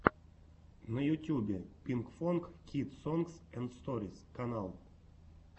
на ютьюбе пинкфонг кидс сонгс энд сторис канал